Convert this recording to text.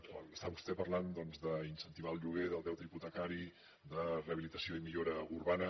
quan està vostè parlant doncs d’incentivar el lloguer del deute hipotecari de rehabilitació i millora urbana